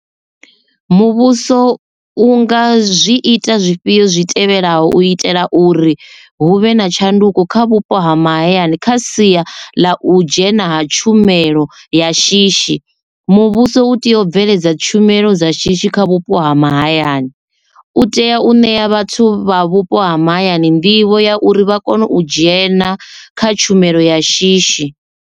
Muvhuso u nga zwi ita zwifhio zwi tevhelaho u itela uri hu vhe na tshanduko kha vhupo ha mahayani kha sia ḽa u dzhena ha tshumelo ya shishi muvhuso u tea u bveledza tshumelo dza shishi kha vhupo ha mahayani u tea u ṋea vhathu vha vhupo ha mahayani nḓivho ya uri vha kone u dzhena kha tshumelo ya shishi.